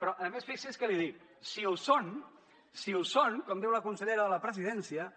però a més fixi’s què li dic si ho són si ho són com diu la consellera de la presidència